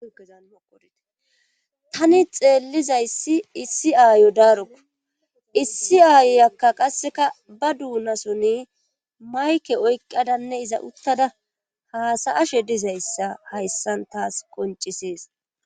He tani xeellizayssi issi aayo daarokko issi aayyakka qasseka ba duunasoni mayke oykqadanne iza uttada haasa ashe dizayssa hayssan taas qoncisees